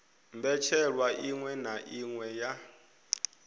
mbetshelwa iṅwe na iṅwe ya